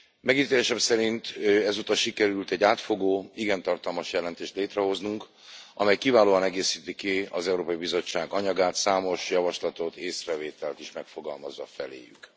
Megítélésem szerint ezúttal sikerült egy átfogó, igen tartalmas jelentést létrehoznunk, amely kiválóan egészíti ki az Európai Bizottság anyagát, számos javaslatot, észrevételt is megfogalmazva feléjük.